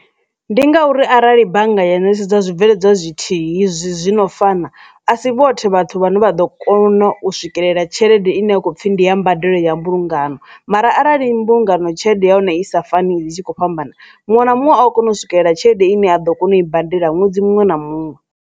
Ndi ngauri arali bannga ya netshedzwa zwibveledzwa zwithihi zwino fana asi vhoṱhe vhathu vhane vha ḓo kona u swikelela tshelede ine a khou pfhi ndi ya mbadelo ya mbulungano mara arali mbulungano tshelede ya hone i sa fani dzi tshi kho fhambana muṅwe na muṅwe a kona u swikelela tshelede ine a ḓo kona u i badela ṅwedzi muṅwe na muṅwe.